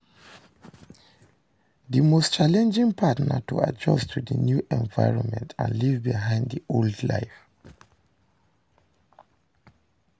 di most challenging part na to adjust to di new environment and leave behind di old life.